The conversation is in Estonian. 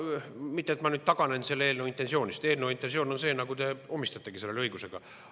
Mitte et ma nüüd taganen selle eelnõu intentsioonist, eelnõu intentsioon on see, nagu te omistategi sellele õigusega.